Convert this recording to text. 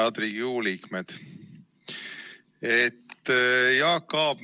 Head Riigikogu liikmed!